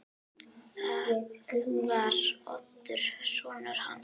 Það var Oddur sonur hans.